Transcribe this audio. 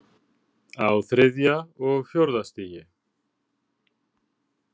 Á þriðja og fjórða stigi.